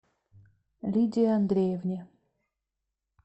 лидии андреевне